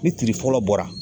Ni tiiri fɔlɔ bɔra